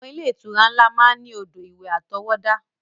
Àwọn ilé-ìtura ńlá máa ń ní odò ìwẹ̀ àtọwọ́dá.